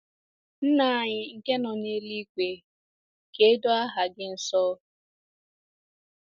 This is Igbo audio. Nna anyị nke nọ n’eluigwe, ka e doo aha gị nsọ